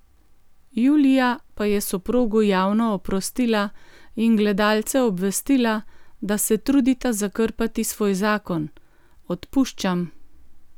Julija pa je soprogu javno oprostila in gledalce obvestila, da se trudita zakrpati svoj zakon: "Odpuščam.